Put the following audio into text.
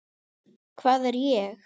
Hvað er ég?